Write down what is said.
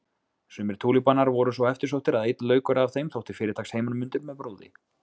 Sumir túlípanar voru svo eftirsóttir að einn laukur af þeim þótti fyrirtaks heimanmundur með brúði.